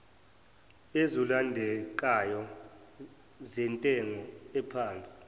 ezilondekayo zentengo ephansi